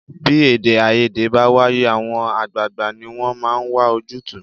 Bí èdèàìyedè bá wáyé, àwọn àgbààgbà ni wọ́n máa ń wà ojútùú